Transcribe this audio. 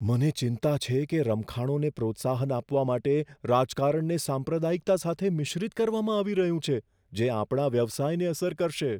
મને ચિંતા છે કે રમખાણોને પ્રોત્સાહન આપવા માટે રાજકારણને સાંપ્રદાયિકતા સાથે મિશ્રિત કરવામાં આવી રહ્યું છે જે આપણા વ્યવસાયને અસર કરશે.